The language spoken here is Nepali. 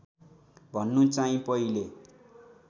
भन्नु चाहिँ पहिले